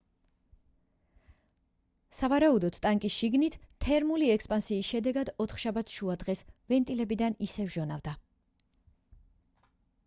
სავარაუდოდ ტანკის შიგნით თერმული ექსპანსიის შედეგად ოთხშაბათს შუადღეს ვენტილებიდან ისევ ჟონავდა